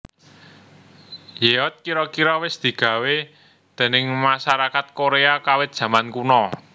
Yeot kira kira wis digawé déning masarakat Korea kawit jaman kuno